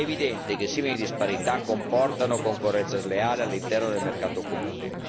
È evidente che simili disparità comportano concorrenza sleale all'interno del mercato comune.